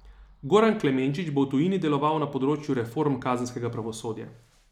Goran Klemenčič bo v tujini deloval na področju reform kazenskega pravosodja.